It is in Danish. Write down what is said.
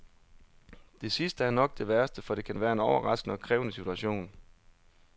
Det sidste er nok det værste, for det kan være en overraskende og krævende situation.